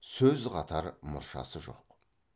сөз қатар мұршасы жоқ